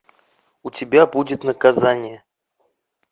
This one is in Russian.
у тебя будет наказание